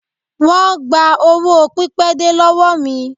Wón gba owó pipede lọ́wọ́ mi.